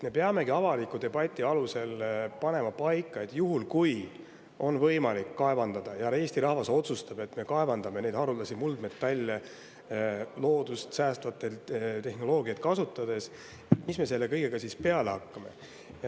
Me peamegi avaliku debati alusel panema paika, et kui on võimalik kaevandada ja Eesti rahvas otsustab, et me kaevandame neid haruldasi muldmetalle loodust säästvaid tehnoloogiaid kasutades, mida me selle kõigega siis peale hakkame.